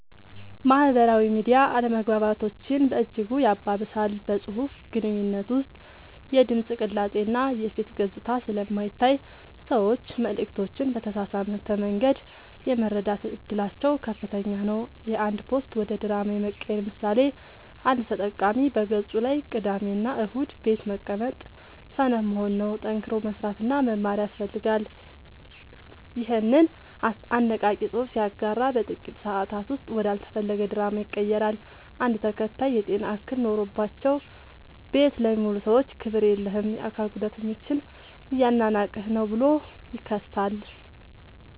ማህበራዊ ሚዲያ አለመግባባቶችን በእጅጉ ያባብሳል። በፅሁፍ ግንኙነት ውስጥ የድምፅ ቅላፄ እና የፊት ገፅታ ስለማይታይ ሰዎች መልዕክቶችን በተሳሳተ መንገድ የመረዳት እድላቸው ከፍተኛ ነው። የአንድ ፖስት ወደ ድራማ የመቀየር ምሳሌ፦ አንድ ተጠቃሚ በገፁ ላይ "ቅዳሜና እሁድ ቤት መቀመጥ ሰነፍ መሆን ነው፣ ጠንክሮ መስራትና መማር ያስፈልጋል" ይኸንን አነቃቂ ፅሑፍ ሲያጋራ በጥቂት ሰአታት ውስጥ ወደ አልተፈለገ ድራማ ይቀየራል። አንድ ተከታይ "የጤና እክል ኖሮባቸው ቤት ለሚውሉ ሰዎች ክብር የለህም! የአካል ጉዳተኞችን እያናናቅህ ነው ብሎ ይከሳል።